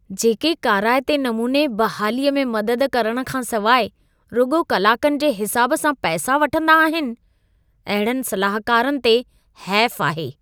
जेके काराइते नमूने बहालीअ में मदद करण खां सवाइ रुॻो कलाकनि जे हिसाबु सां पैसा वठंदा आहिनि , अहिड़नि सलाहकारनि ते हैफ़ु आहे।